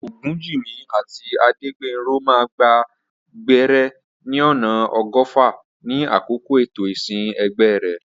Ogunjimi àti Adegbenro máa gba gbẹ́rẹ́ ní ọ̀nà ọgọ́fà ní àkókò ètò ìsìn ẹgbẹ́ rẹ̀.